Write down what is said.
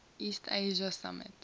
east asia summit